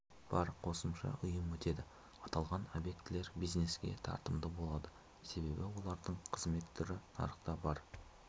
бар қосымша ұйым өтеді аталған объектілер бизнеске тартымды болады себебі олардың қызмет түрі нарықта бар